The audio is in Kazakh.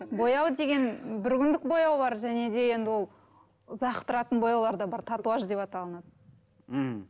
бояу деген бір күндік бояу бар және де енді ол ұзақ тұратын бояулар да бар татуаж деп аталынады мхм